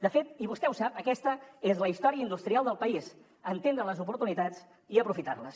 de fet i vostè ho sap aquesta és la història industrial del país entendre les oportunitats i aprofitar les